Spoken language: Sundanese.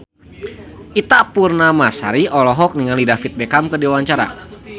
Ita Purnamasari olohok ningali David Beckham keur diwawancara